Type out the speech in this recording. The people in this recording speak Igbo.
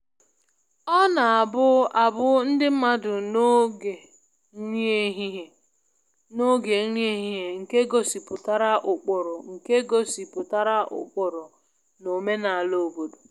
Ọ na-abụ abụ ndị mmadụ n'oge nri ehihie n'oge nri ehihie nke gosipụtara ụkpụrụ nke gosipụtara ụkpụrụ na omenala obodo